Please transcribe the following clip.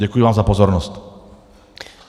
Děkuji vám za pozornost.